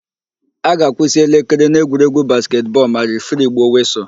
A ga-akwụsị elekere na egwuregwu basketị bọọlu ma refiri gbuo wịsụlụ.